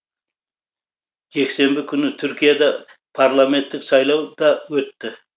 жексенбі күні түркияда парламенттік сайлау да өтті